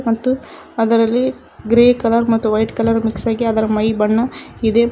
ಮತ್ತು ಅದರಲ್ಲಿ grey colour ಮತ್ತ ವೈಟ್ ಕಲರ್ ಮಿಕ್ಸ್ ಆಗಿ ಅದರ ಮೈ ಬಣ್ಣ ಇದೆ ಮಾ--